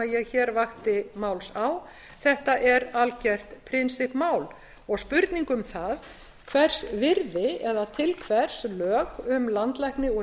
hér vakti máls á þetta er algert prinsippmál og spurning um það hvers virði eða til hvers lög um landlækni og